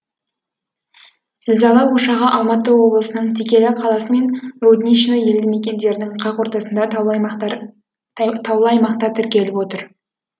зілзала ошағы алматы облысының текелі қаласы мен рудничный елді мекендерінің қақ ортасында таулы аймақта тіркеліп отыр